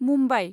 Mumbai